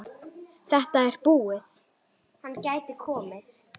Þetta er búið!